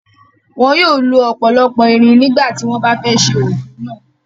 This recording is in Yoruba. Wọ́n yóò lo ọ̀pọ̀lọpọ̀ irin nígbà tí wọ́n bá fẹ́ ẹ́ se òpó náà.